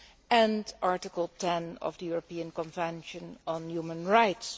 and Article 10 of the European Convention on Human Rights.